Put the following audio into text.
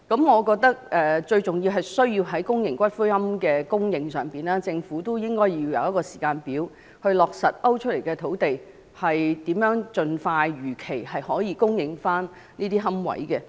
我認為最重要是，政府在公營骨灰龕的供應上，應設立時間表，以落實被勾出來的土地如何能如期供應龕位。